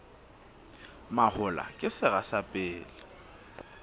mahola ke sera sa pele